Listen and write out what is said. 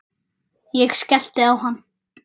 Ég skellti á hann.